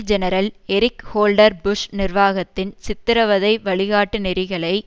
general Eric Holder Bush நிர்வாகத்தின் சித்திரவதை வழிகாட்டுநெறிகளை